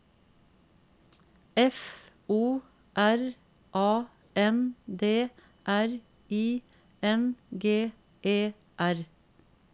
F O R A N D R I N G E R